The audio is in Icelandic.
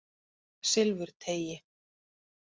Silfurteigi